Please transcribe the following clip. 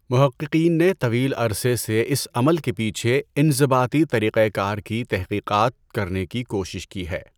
محققین نے طویل عرصے سے اس عمل کے پیچھے انضباطی طریقہ کار کی تحقیقات کرنے کی کوشش کی ہے۔